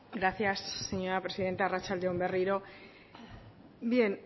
gracias presidenta arratsalde on berriro bien